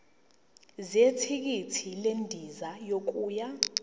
zethikithi lendiza yokuya